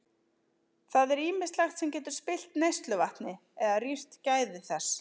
Það er ýmislegt sem getur spillt neysluvatni eða rýrt gæði þess.